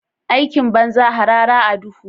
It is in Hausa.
Aikin banza harara a duhu?